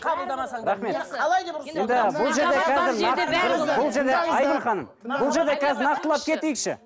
қабылдамасаңдар рахмет қалай деп бұл жерде қазір айгүл ханым бұл жерде қазір нақтылап кетейікші